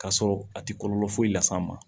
K'a sɔrɔ a ti kɔlɔlɔ foyi las'a ma